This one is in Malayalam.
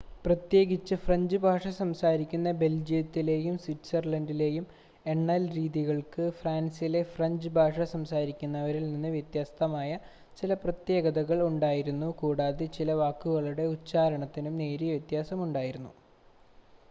പ്രത്യേകിച്ച് ഫ്രഞ്ച് ഭാഷ സംസാരിക്കുന്ന ബെൽജിയത്തിലെയും സ്വിറ്റ്സർലണ്ടിലെയും എണ്ണൽരീതിക്ക് ഫ്രാൻസിൽ ഫ്രഞ്ച് ഭാഷ സംസാരിക്കുന്നവരിൽനിന്ന് വ്യത്യസ്തമായ ചില പ്രത്യേകതകൾ ഉണ്ടായിരുന്നു കൂടാതെ ചില വാക്കുകളുടെ ഉച്ചാരണത്തിനും നേരിയ വ്യത്യാസം ഉണ്ടായിരുന്നു